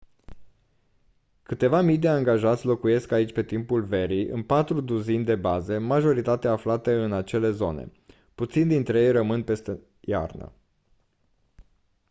câteva mii de angajați locuiesc aici pe timpul verii în patru duzini de baze majoritatea aflate în acele zone puțini dintre ei rămân peste iarnă